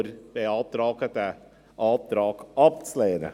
Wir beantragen, diesen Antrag abzulehnen.